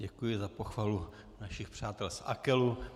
Děkuji za pochvalu našich přátel z AKELu.